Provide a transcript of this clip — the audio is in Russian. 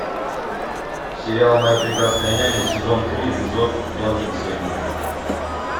сериал моя прекрасная няня сезон три эпизод двадцать семь